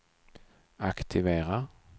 aktivera